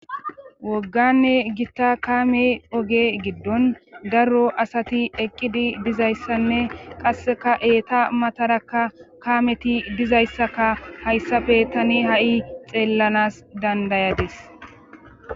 Wogganne gitta kaame oge giddon darro asati eqqidi dizayssanne qasseka eeta matarakka kaameti dizayssaka hayssafe tani ha'i xeellanas dandayades.